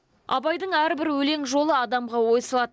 абайдың әрбір өлең жолы адамға ой салады